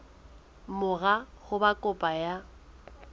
mora ho ba kopo ya